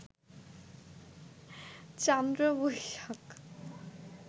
Chandra Boishakh